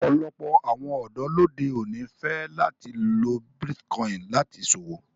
Ọpọlọpọ̀ awọn ọdọ lódè oní fẹ lati lọ Bitikòinì láti ṣọwọ.